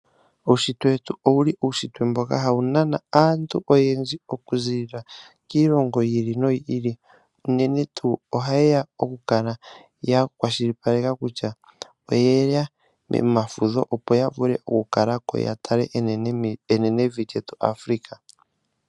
Uunshitwe wetu ohawu nana aantu oyendji okuziilila kiilongo yiili noyiili, uunene tuu ohayeya okukala ya kwashilipaleka kutya okuziilila oyeya momafudho okukalako opo yatale enenevi lyetu Africa.